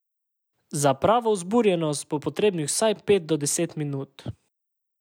Za pravo vzburjenost bo potrebnih vsaj pet do deset minut.